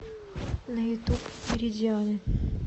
на ютуб меридианы